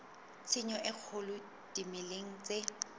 tshenyo e kgolo dimeleng tse